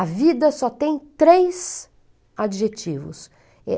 A vida só tem três adjetivos.